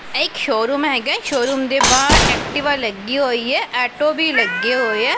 ਇਹ ਇੱਕ ਸ਼ੋਅਰੂਮ ਹੈਗਾ ਹੈ ਸ਼ੋਅਰੂਮ ਦੇ ਬਾਹਰ ਐਕਟਿਵਾ ਲੱਗੀ ਹੋਈ ਹੈ ਆਟੋ ਵੀ ਲੱਗੇ ਹੋਏ ਹੈ।